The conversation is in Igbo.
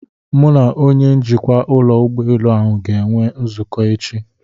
Mụ na onye njikwa ụlọ ụgbọelu ahụ ga-enwe nzukọ echi.